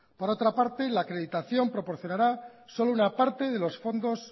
por otra parte la acreditación proporcionará solo una parte de los fondos